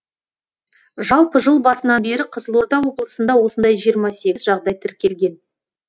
жалпы жыл басынан бері қызылорда облысында осындай жиырма сегіз жағдай тіркелген